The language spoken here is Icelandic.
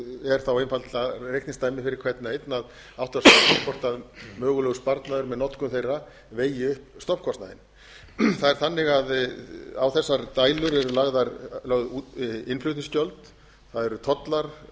er þá einfaldlega reikningsdæmi fyrir hvern og einn að átta sig á því hvort mögulegur sparnaður með notkun þeirra vegi upp stofnkostnaðinn það er þannig að á þessar dælur eru lögð innflutningsgjöld það eru tollar